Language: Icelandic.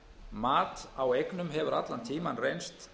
mat á eignum hefur allan tímann reynst